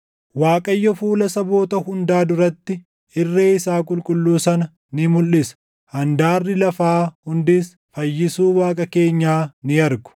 Waaqayyo fuula saboota hundaa duratti, irree isaa qulqulluu sana ni mulʼisa; handaarri lafaa hundis fayyisuu Waaqa keenyaa ni argu.